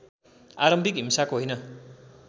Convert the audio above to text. आरम्भिक हिंसाको होइन